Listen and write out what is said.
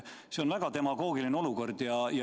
See on väga demagoogiline olukord.